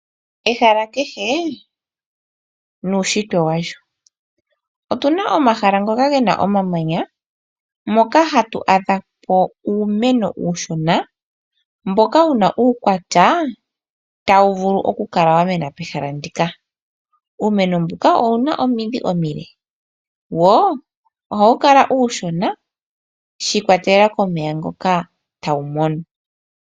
Ehala kehe nuushitwe walyo, otu na omahala ngoka ge na omamanya moka, hatu adha po uumeno uushona mboka wu na uukwatya tawu vulu okumena pehala ndika. Uumeno mbuka owu na omidhi omile wo ohawu kala uushona shi ikwatelela komeya ngoka tawu mono.